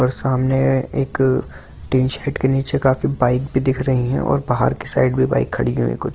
और सामने एक टी शर्ट के नीचे काफी बाइक भी दिख रही है और बाहर की साइड भी बाइक खड़ी हुई कुछ।